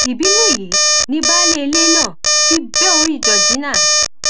ìbínú èyí ni baálé ilé náà fi bẹ orí georgina